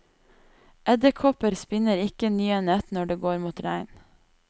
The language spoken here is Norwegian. Edderkopper spinner ikke nye nett når det går mot regn.